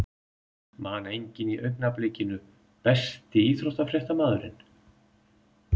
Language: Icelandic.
Man engan í augnablikinu Besti íþróttafréttamaðurinn?